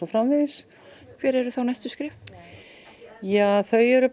framvegis hver eru þá næstu skref þau eru